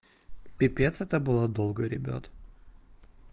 пипец это было долго ребят